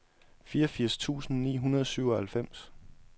fireogfirs tusind ni hundrede og syvoghalvfems